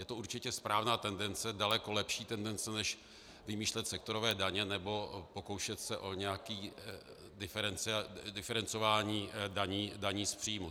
Je to určitě správná tendence, daleko lepší tendence než vymýšlet sektorové daně nebo pokoušet se o nějaké diferencování daní z příjmů.